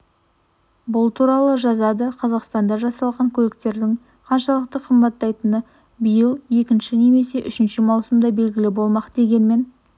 бұл туралы жазады қазақстанда жасалған көліктердің қаншалықты қымбаттайтыны биыл екінші немесе үшінші маусымда белгілі болмақ дегенмен